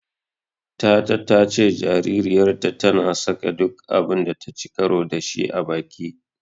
Tata ta ce jaririyarta tana saka duk abun da taci karo da shi a baki.